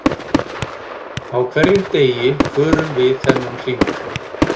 Á hverjum degi förum við þennan hring.